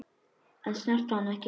En snertu hana ekki.